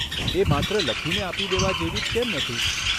એ માત્ર લખીને આપી દેવા જેવી જ કેમ નથી?